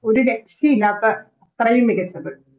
ഒരു രക്ഷയില്ലാത്ത അത്രയും മികച്ചത്